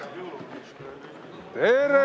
Tere!